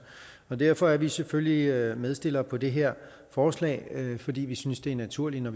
derfor er vi selvfølgelig medstillere på det her forslag fordi vi synes det er naturligt at